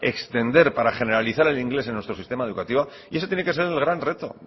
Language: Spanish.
extender para generalizar el inglés en nuestro sistema educativo y ese tiene que ser el gran reto